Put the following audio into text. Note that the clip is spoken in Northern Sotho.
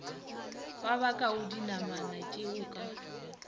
ba bakago dinamanatšeo o ka